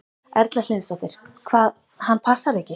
Erla Hlynsdóttir: Hvað, hann passar ekki?